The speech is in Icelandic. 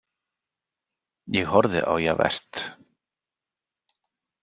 Ég horfði á Javert.